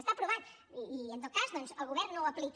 està aprovat i en tot cas doncs el govern no ho aplica